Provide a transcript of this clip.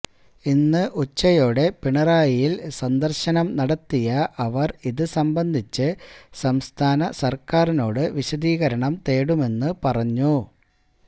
ഇന്ന് ഉച്ചയോടെ പിണറായിയില് സന്ദര്ശനം നടത്തിയ അവര് ഇത് സംബന്ധിച്ച് സംസ്ഥാന സർക്കാരിനോട് വിശദീകരണം തേടുമെന്ന് പറഞ്ഞു